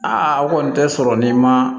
Aa o kɔni tɛ sɔrɔ ni ma